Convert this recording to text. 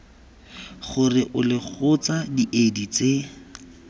gore ole kgotsa diedi tse